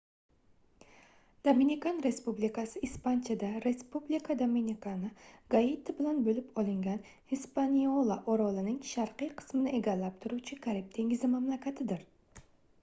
dominikan respublikasi ispanchada: republica dominicana – gaiti bilan bo'lib olingan hispaniola orolining sharqiy qismini egallab turuvchi karib dengizi mamlakatidir